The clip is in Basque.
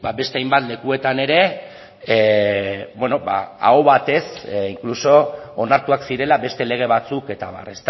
beste hainbat lekuetan ere aho batez inkluso onartuak zirela beste lege batzuk eta abar